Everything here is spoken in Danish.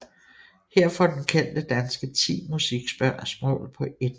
Her får den kendte danske 10 musikspørgsmål på 1 minut